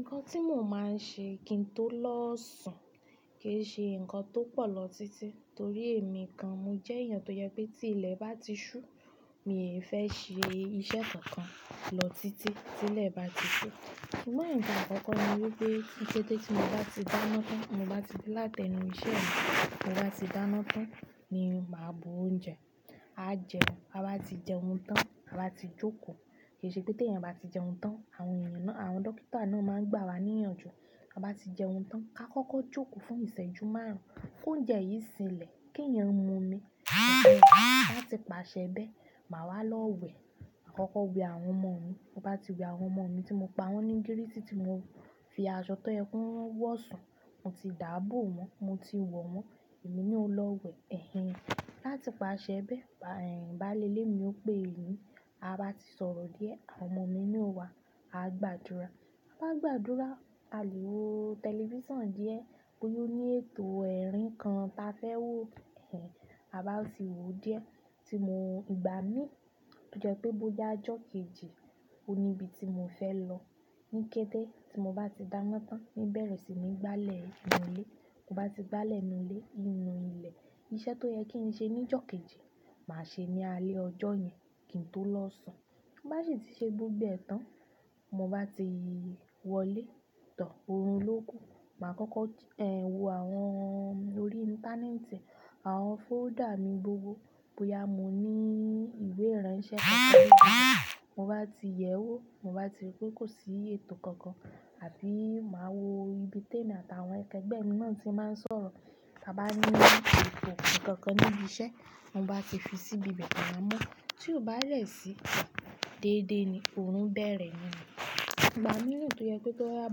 Nǹkan tí mo máa ń ṣe kí n tó lọ sùn kì í ṣe nǹkan tó pọ̀ lọ títí torí èmi kan, mo jẹ́ èèyàn tó jẹ pé tí ilẹ̀ bá ti ṣú, mi ò fẹ́ ṣe iṣẹ́ kankan lọ títí tí ilẹ̀ bá ti sú. Ṣùgbọ́n nǹkan àkọ́kọ́ ni wípé ní kété tí mo bá ti dáná tán, ti mo bá ti dé láti ẹnu iṣẹ́ mi, ti mo bá ti dáná tán ni màá bu oúnjẹ, à jẹun, a bá ti jẹun tán, a bá ti jókòó. Kì í ṣe pé t'èèyàn bá ti jẹun tán, àwọn èèyàn náà, àwọn dókítà náà máa ń gbà wá níyànjú. A bá ti jẹun tán, ká kọ́kọ́ jókòó fún ìṣẹ́jú márùn-ún kí oúnjẹ yìí sinlẹ̀ kí èèyàn mu omi. Lẹ́yìn náà, láti pàṣẹ bẹ́ẹ̀, màá wá lọ wẹ̀. Makọ́kọ́ wẹ àwọn ọmọ mi. Mo bá ti wẹ àwọn ọmọ mi tí mo pa wọ́n ní gírísì tí mo fi aṣọ tó yẹ ki wọ́n wo sùn, mo ti dábò wọ́n, mo ti wọ̀ wọ́n, èmi na ó lọ wẹ̀. Ẹ̀hẹ̀n. Láti pàṣẹ bẹ́ẹ̀, baàlé ilé mi ó pè mí, ba bá ti sọ̀rọ̀ díẹ̀, àwọn ọmọ mi ni ó wá, a gbàdúrà. A bá gbàdúrà, a lè wo tẹlifíṣàn díẹ̀ bóyá ó ní ètò ẹ̀rín kan ta fẹ́ wò. Ẹ̀hẹ̀n. A bá ti wò ó díẹ̀ tí mò ń igbá mií tó jẹ́ pé bóyá ọjọ́ kejì, ò ni ibi tí mò fẹ́ lọ. Ní kété tí mo bá ti dáná tán, níbẹ̀rẹ̀ sì ní gbálẹ̀ inú ilé. Mo bá ti gbálẹ̀ inú ilé, in nú ilẹ̀, iṣẹ́ tó yẹ kí n ṣe ní ọjọ́ kejì, màá ṣe ní alẹ́ ọjọ́ yẹn kí n tó lọ sùn. Bá ṣe tí ṣe gbogbo ẹ́ tán, mo bá ti wọlé tán orún lóku, màá kọ́kọ́, ẹ̀hẹ̀n, wo àwọn órí íńtánẹ́ẹ̀tì, àwọn fólder mi gbogbo. Bóyá mo ní ìwé ìránṣẹ́ kankan níbí, mo bá ti yẹ̀ ẹ́ wò, mo bá ti rí pé kò sí ètò kankan àbí màá wo ibi tèmi àt'àwọn akẹgbẹ̀ mí náà tí màá n sọ̀rọ̀. Ta bá ní ètò kankan níbi iṣẹ́, won bá ti fi sí ibi be, maa mọ́. Tí ó bá dẹ̀ sí, déédé ni, òórùn bẹ̀rẹ̀ nú. Ìgbà mìíràn tó yẹ pé kó rá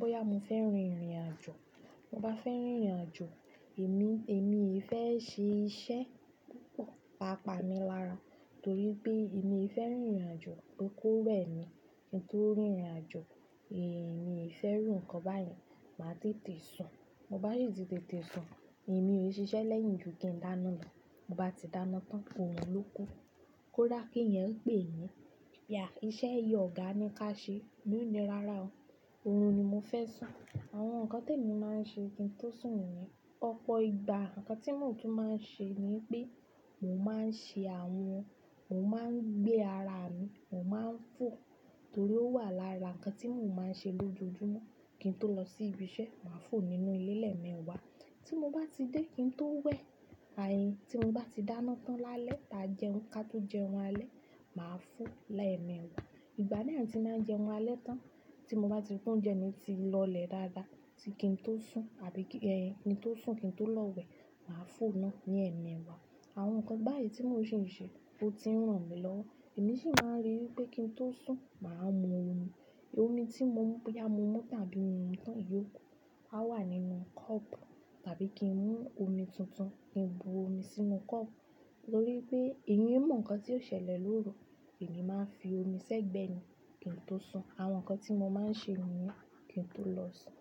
bóyá mo fẹ́ rin ìrìnàjò, mo bá fẹ́ rìnrìnàjò, èmi, èmi ì fẹ́ ṣe iṣẹ́ púpọ̀, tàápàá mi lára torí pé èmi e fẹ́ rìnrìnàjò. Ó kó rẹ̀ ni kí n tó rìnrìnàjò, èmi ì fẹ́ rùn kan báyìí, màá tètè sùn. Mo bá sì ti tètè sùn, èmi ò ṣiṣẹ́ lẹ́yìn ju kí n dáná lọ. Mo bá ti dáná tán, òórùn lóko. Kóda kí èèyàn pè mí, "Ìyá, iṣẹ́ yìí ọ̀gá ni ká ṣe." Mi ò ní rárá o, òórùn ni mo fẹ́ sùn. Àwọn nǹkan tẹ̀mí máa ń ṣe kí n tó sùn nìyẹn. Ọ̀pọ̀ ìgbà nǹkan tí mòún tú máa ń ṣe ni pé mò ń máa ń ṣe àwọn ohun, mò ń máa ń gbé ara mi, mò ń máa ń fò torí ó wà lára nǹkan tí mò ń máa ń ṣe lójoojúmọ́ kí n tó lọ sí ibi iṣẹ́. Màá fò nínú ilẹ̀ lẹ̀ẹ̀mewa wa. Tí mo ba tí de kinto we á ti mo ba ti dáná tán lálẹ́ ta jẹun ká to jẹun alekbnn alẹ́, màá fò ó lẹ́'meẹ̀wa. Ìgbà mìíràn tí màá ń jẹun alẹ́ tán, tí mo bá ti fún oúnjẹ mi ti lọlẹ̀ dáadáa tí kí n tó sùn àbí kí, ẹ̀hẹ̀n, kí n tó sùn kí n tó lọ wẹ̀, màá fò ó náà ní ẹ̀mí wa. Àwọn nǹkan báyìí tí mò ṣi n ṣe ló ti ń ràn mí lọ. Èmi sì máa ń ríi wípé kí n tó sùn, màá mu omi. Omi tí mo mú bóyá mo mú boya mo mu tan ábí mio mu tán iyókù, a wà nínú kọ́pù tàbí kí ń mú omi tuntun, kí n bu omi sínú kọ́pù torí pé èyan i mọ̀ nǹkan tí ó ṣẹlẹ̀ lóru, èmi máa ń fi omi ṣẹ́gbẹ́ ni kí n tó sùn. Àwọn nǹkan tí mo máa ń ṣe nìyẹn kí n tó lọ sùn.